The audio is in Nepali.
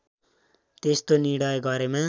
त्यस्तो निर्णय गरेमा